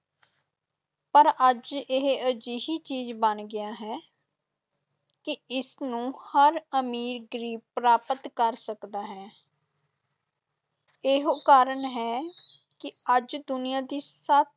ਪਰ ਅੱਜ ਇਹ ਅਜਿਹੀ ਚੀਜ਼ ਬਣ ਗਿਆ ਹੈ ਕਿ ਇਸਨੂੰ ਹਰ ਅਮੀਰ-ਗ਼ਰੀਬ ਪ੍ਰਾਪਤ ਕਰ ਸਕਦਾ ਹੈ ਇਹੋ ਕਾਰਨ ਹੈ ਕਿ ਅੱਜ ਦੁਨੀਆਂ ਦੀ ਸ~